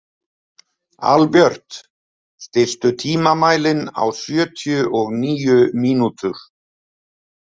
Albjört, stilltu tímamælinn á sjötíu og níu mínútur.